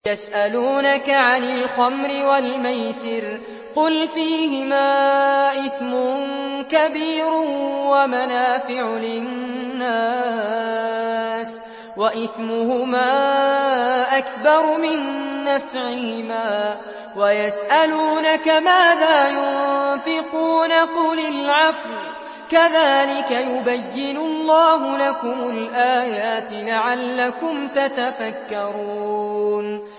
۞ يَسْأَلُونَكَ عَنِ الْخَمْرِ وَالْمَيْسِرِ ۖ قُلْ فِيهِمَا إِثْمٌ كَبِيرٌ وَمَنَافِعُ لِلنَّاسِ وَإِثْمُهُمَا أَكْبَرُ مِن نَّفْعِهِمَا ۗ وَيَسْأَلُونَكَ مَاذَا يُنفِقُونَ قُلِ الْعَفْوَ ۗ كَذَٰلِكَ يُبَيِّنُ اللَّهُ لَكُمُ الْآيَاتِ لَعَلَّكُمْ تَتَفَكَّرُونَ